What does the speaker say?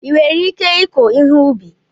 Ị nwere ike ịkụ ihe ubi?